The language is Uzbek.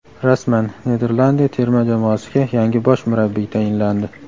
Rasman: Niderlandiya terma jamoasiga yangi bosh murabbiy tayinlandi.